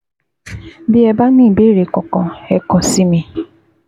Bí ẹ bá ní ìbéèrè kankan, ẹ kàn sí mi